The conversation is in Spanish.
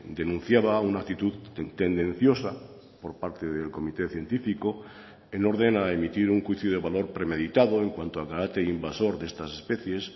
denunciaba una actitud tendenciosa por parte del comité científico en orden a emitir un juicio de valor premeditado en cuanto al carácter invasor de estas especies